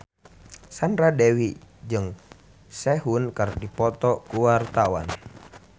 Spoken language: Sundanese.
Sandra Dewi jeung Sehun keur dipoto ku wartawan